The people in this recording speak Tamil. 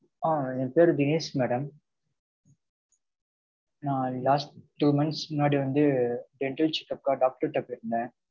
ஆ, என் பேரு தினேஷ் madam நான் last two months முன்னாடி வந்து dental checkup காக doctor ட போயிருந்தேன்.